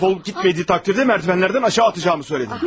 Dəf olub getmədiyi təqdirdə merdivenlerden aşağı atacağımı söylədim.